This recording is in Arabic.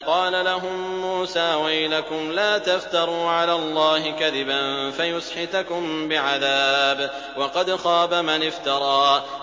قَالَ لَهُم مُّوسَىٰ وَيْلَكُمْ لَا تَفْتَرُوا عَلَى اللَّهِ كَذِبًا فَيُسْحِتَكُم بِعَذَابٍ ۖ وَقَدْ خَابَ مَنِ افْتَرَىٰ